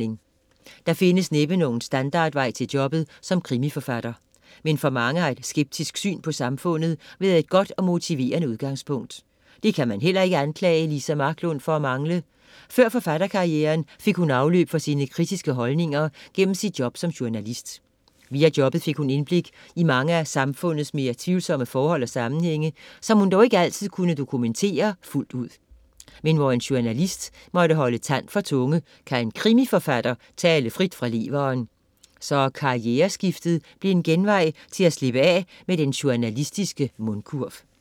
Der findes næppe nogen standardvej til jobbet som krimiforfatter. Men for mange har et skeptisk syn på samfundet været et godt og motiverende udgangspunkt. Det kan man heller ikke anklage Liza Marklund for at mangle. Før forfatterkarrieren fik hun afløb for sine kritiske holdninger gennem sit job som journalist. Via jobbet fik hun indblik i mange af samfundets mere tvivlsomme forhold og sammenhænge, som hun dog ikke altid kunne dokumentere fuldt ud. Men hvor en journalist må holde tand for tunge, kan en krimiforfatter tale frit fra leveren. Så karriereskiftet blev en genvej til at slippe af med den journalistiske mundkurv.